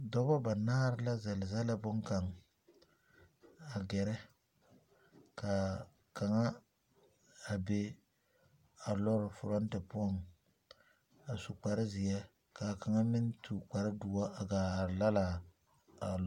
Dɔbɔ ba naare la zele zele boŋkaŋa a gɛrɛ ka kaŋa a be a loori foronti poɔŋ a su kpare zeɛ ka a kaŋa meŋ su kpare doɔ a are laala a loori.